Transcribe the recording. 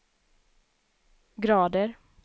grader